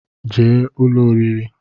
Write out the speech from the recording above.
jee ụlọ oriri!